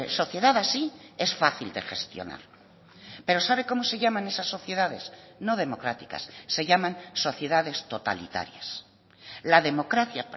sociedad así es fácil de gestionar pero sabe cómo se llaman esas sociedades no democráticas se llaman sociedades totalitarias la democracia